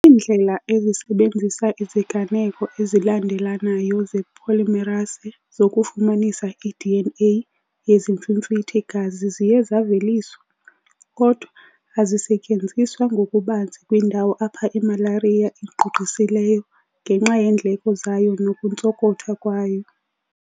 Iindlela ezisebenzisa iziganeko ezilandelelanayo zepolymerase zokufumanisa iDNA yezimfimfithi-gazi ziye zaveliswa, kodwa azisetyenziswa ngokubanzi kwiindawo apho imalariya igqugqisileyo ngenxa yeendleko zayo nokuntsonkotha kwayo.